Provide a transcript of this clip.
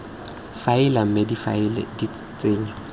faele mme difaele di tsenngwa